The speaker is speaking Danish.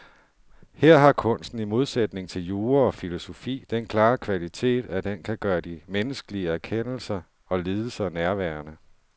Her har kunsten i modsætning til jura og filosofi den klare kvalitet, at den kan gøre de menneskelige erkendelser og lidelser nærværende.